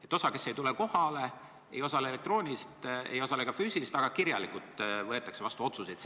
Et osa, kes ei tule kohale, ei osale elektrooniliselt ega ka füüsiliselt, aga otsused võetakse vastu kirjalikult.